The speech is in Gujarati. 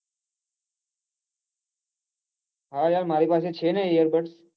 હા યાર મારી પાસે છે ને ear buds